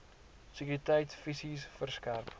sekuriteit fisies verskerp